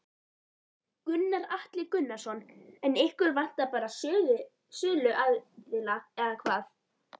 Gunnar Atli Gunnarsson: En ykkur vantar bara söluaðila eða hvað?